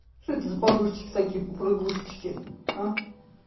что это за подушечки такие попрыгушечки